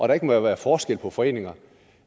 der ikke må være forskel på foreninger